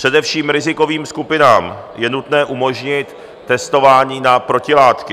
Především rizikovým skupinám je nutné umožnit testování na protilátky.